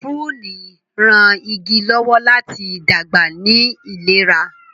piruni rán ìgi lọwọ láti dàgbà ní ìlera.